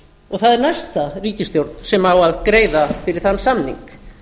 og það er næsta ríkisstjórn sem á að greiða fyrir þann samning